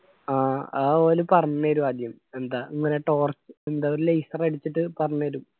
ആ അത് ഓല് പറഞ്ഞേരും ആദ്യം എന്താ ഇങ്ങന torch എന്താ ഒരു laser അടിച്ചിട്ട് പറഞ്ഞെരും.